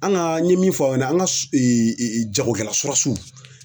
An ka n ɲe min fɔ aw ɲɛna an ka jagokɛla